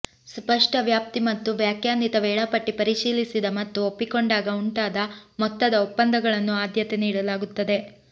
ಸ್ಪಷ್ಟ ವ್ಯಾಪ್ತಿ ಮತ್ತು ವ್ಯಾಖ್ಯಾನಿತ ವೇಳಾಪಟ್ಟಿ ಪರಿಶೀಲಿಸಿದ ಮತ್ತು ಒಪ್ಪಿಕೊಂಡಾಗ ಉಂಟಾದ ಮೊತ್ತದ ಒಪ್ಪಂದಗಳನ್ನು ಆದ್ಯತೆ ನೀಡಲಾಗುತ್ತದೆ